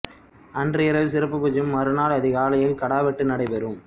அன்று இரவு சிறப்பு பூஜையும் மறுநாள் அதிகாலையில் கடாவெட்டு நடைபெறும்